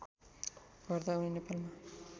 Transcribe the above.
गर्दा उनी नेपालमा